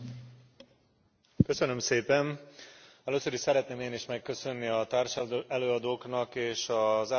Először is szeretném én is megköszönni a társelőadóknak és az árnyékelőadó kollégáknak a munkát.